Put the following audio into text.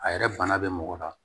A yɛrɛ bana bɛ mɔgɔ la